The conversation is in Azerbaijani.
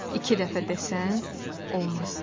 İki dəfə desən olmaz.